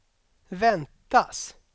väntas